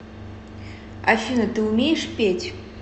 афина ты умеешь петь